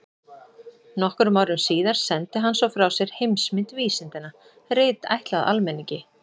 Nokkrum árum síðar sendi hann svo frá sér Heimsmynd vísindanna, rit ætlað almenningi.